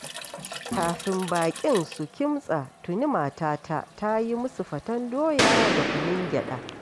Kafin baƙin su kimtsa tuni matata ta yi musu faten doya da kunun gyaɗa.